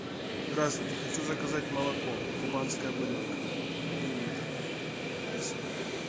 здравствуйте хочу заказать молоко кубанская буренка один литр спасибо